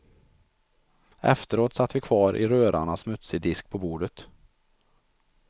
Efteråt satt vi kvar i röran av smutsig disk på bordet.